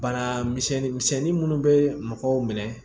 Bana misɛnnin misɛnnin minnu bɛ mɔgɔw minɛ